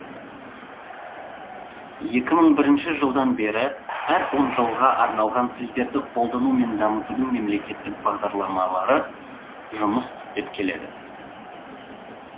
екі мың бірінші жылдан бері әр он жылға арналған тілдерді қолдану мен дамытудың мемлекеттік бағдарламалары жұмыс істеп келеді